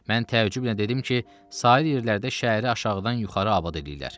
Mən təəccüblə dedim ki, sahil yerlərdə şəhəri aşağıdan yuxarı abad eləyirlər.